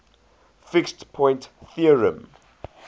fixed point theorem